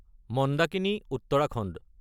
Mandakini (Uttarakhand)